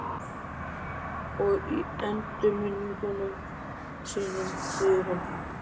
Og í endurminningum sínum segir hann